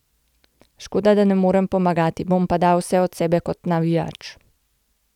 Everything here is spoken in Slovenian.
Škoda, da ne morem pomagati, bom pa dal vse od sebe kot navijač.